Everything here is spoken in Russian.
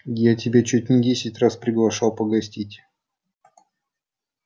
я тебя чуть не десять раз приглашал погостить